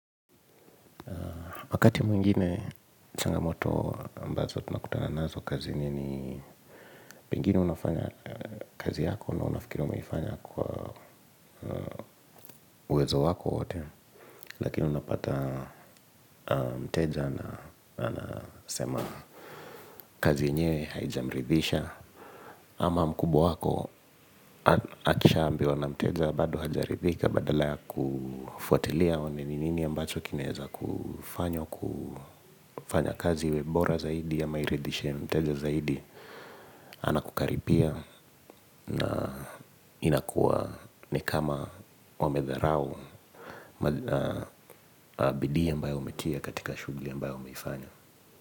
Wakati mwingine changamoto ambazo tunakutana nazo kazini ni pengine unafanya kazi yako na unafikiri umeifanya kwa uwezo wako wote. Lakini unapata mteja anasema kazi yenyewe haijamridhisha. Ama mkubwa wako akisha ambiwa na mteja bado hajaridhika badala ya kufuatilia aone ni nini ambacho kinaweza kufanywa kufanya kazi iwe bora zaidi ama iridishe mteja zaidi anakukaribia na inakuwa nikama wamedharau bidii ambayo umetia katika shughuli ambayo umeifanya.